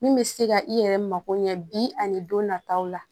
Min bɛ se ka i yɛrɛ mako ɲɛ bi ani don nataw la